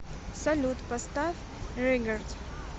салют поставь регард